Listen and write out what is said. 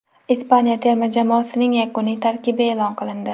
Ispaniya terma jamoasining yakuniy tarkibi e’lon qilindi.